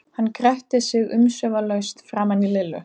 Hún gretti sig umsvifalaust framan í Lillu.